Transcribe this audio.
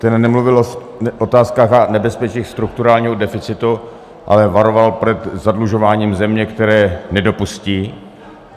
Ten nemluvil o otázkách a nebezpečích strukturálního deficitu, ale varoval před zadlužováním země, které nedopustí.